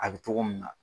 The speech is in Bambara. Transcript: A bɛ togo min na